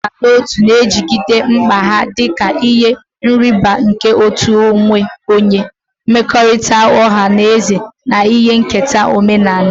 Iduba n'otu ga-ejigide mkpa ha dị ka ihe nrịbama nke uto onwe onye, mmekọrịta ọha na eze, na ihe nketa omenala.